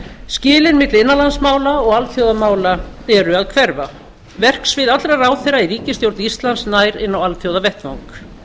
skilin milli innanlandsmála og alþjóðamála eru að hverfa verksvið allra ráðherra í ríkisstjórn íslands nær inn á alþjóðavettvang